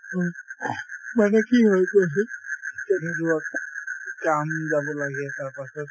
উম, মানে কি হৈছে তেনেকুৱাত কাম যাব লাগে তাৰপাছত